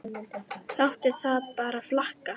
Láttu það bara flakka!